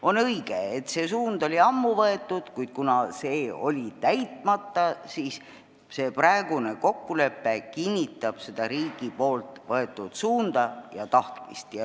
On õige, et see suund oli ammu võetud, kuid see eesmärk oli täitmata ja see praegune kokkulepe kinnitab seda riigi võetud suunda ja tahtmist.